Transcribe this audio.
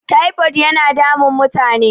tipod yana damun mutane